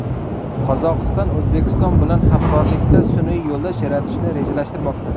Qozog‘iston O‘zbekiston bilan hamkorlikda sun’iy yo‘ldosh yaratishni rejalashtirmoqda.